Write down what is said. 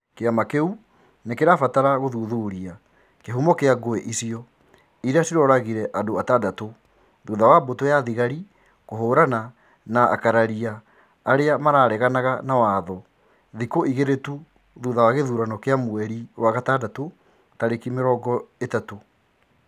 Kĩama kĩu nĩ kĩrabatara gũthuthuria kĩhumo kĩa ngũĩ icio ĩrĩa ciroragire andũ atandatũ thutha wa mbũtũ ya thigari Kũhũrana na ũkararia wa arĩa mareganaga na watho thikũ igĩrĩ tu thutha wa gĩthurano kĩa mweri wa gatandatu tarĩki mĩrongo ũtatũ